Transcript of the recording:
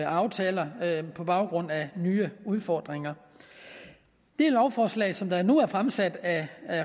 aftaler på baggrund af nye udfordringer det lovforslag som der nu er fremsat af